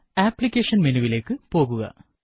application മെനുവിലേക്ക് പോകുക